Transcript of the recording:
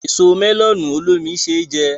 Èso mẹ́lọ̀nù olómi ṣé jẹ